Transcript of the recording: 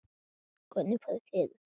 Hvernig farið þið að því?